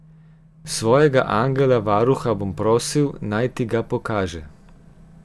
Svojega angela varuha bom prosil, naj ti ga pokaže.